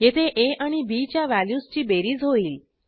येथे आ आणि बी च्या व्हॅल्यूजची बेरीज होईल